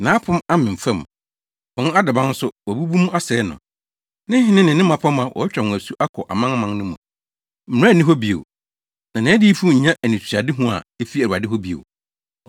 Nʼapon amem fam; wɔn adaban nso, wabubu mu asɛe no. Ne hene ne ne mmapɔmma, watwa wɔn asu kɔ amanaman no mu, mmara nni hɔ bio, na nʼadiyifo nnya anisoadehu a efi Awurade hɔ bio.